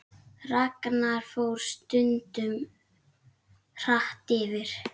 Ragnar fór stundum hratt yfir.